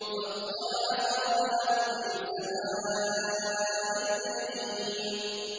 فَاطَّلَعَ فَرَآهُ فِي سَوَاءِ الْجَحِيمِ